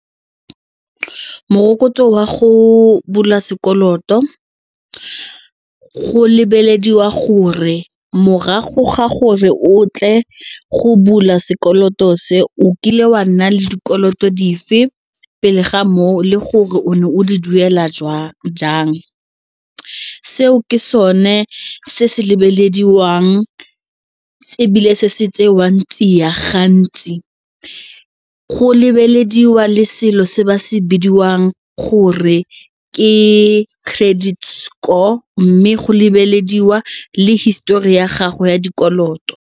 Morokotso wa go bula sekoloto go lebelediwa gore morago ga gore otlile go bula sekoloto se o kile wa nna le dikoloto dife pele ga moo le gore o ne o di duela jang. Seo ke sone se se lebelediwang tse ebile se se ya gantsi go lebelediwe le selo se ba se bidiwang gore ke credit score mme go lebelediwa le histori ya gago ya dikoloto.